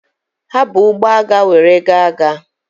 Ha bu ụgbọ agha were gaa agha.